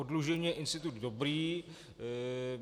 Oddlužení je institut dobrý.